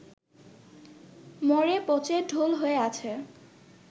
মরে পচে ঢোল হয়ে আছে